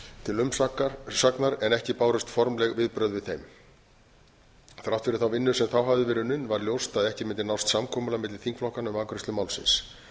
til umsagnar en ekki bárust formleg viðbrögð við þeim þrátt fyrir þá vinnu sem þá hafði verið unnin var ljóst að ekki mundi nást samkomulag milli þingflokkanna um afgreiðslu málsins það